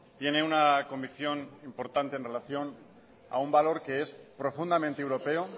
tiene una convicción importante en relación a un valor que es profundamente europeo